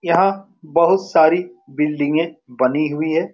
यहाँ बहुत सारी बिल्डिंगे बनी हुई है।